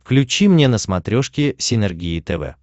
включи мне на смотрешке синергия тв